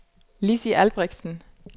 Lizzi Albrechtsen